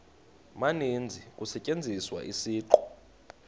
maninzi kusetyenziswa isiqu